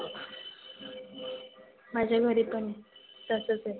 माझ्या घरी पण तसच.